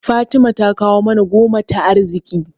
Fatima ta kawo mana goma ta arziƙi.